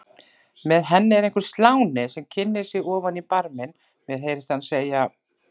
Með henni er einhver sláni sem kynnir sig ofan í barminn, mér heyrist hann segja